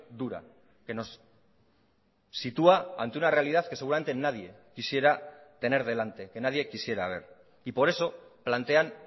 dura que nos sitúa ante una realidad que seguramente nadie quisiera tener delante que nadie quisiera ver y por eso plantean